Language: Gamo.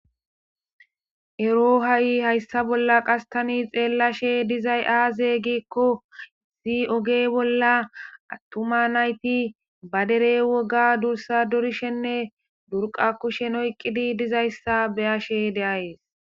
ero ha7i hayssa bolla qas tani xeellashe dizay aaze giikko zii oge bolla attuma nayti badere woga dursa dorishenne durqa kushen oyqqidi dizayssa beyashe de7ayees